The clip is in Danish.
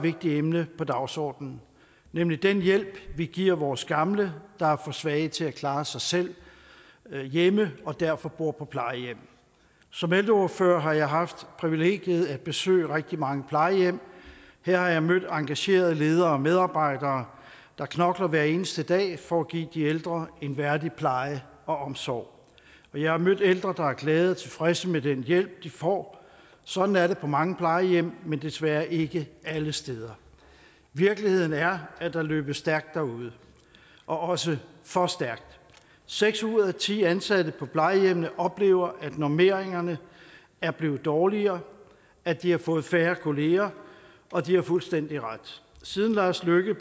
vigtigt emne på dagsordenen nemlig den hjælp vi giver vores gamle der er for svage til at klare sig selv hjemme og derfor bor på plejehjem som ældreordfører har jeg haft privilegiet at besøge rigtig mange plejehjem her har jeg mødt engagerede ledere og medarbejdere der knokler hver eneste dag for at give de ældre en værdig pleje og omsorg og jeg har mødt ældre der er glade og tilfredse med den hjælp de får sådan er det på mange plejehjem men desværre ikke alle steder virkeligheden er at der løbes stærkt derude og også for stærkt seks ud af ti ansatte på plejehjemmene oplever at normeringerne er blevet dårligere at de har fået færre kolleger og de har fuldstændig ret siden lars løkke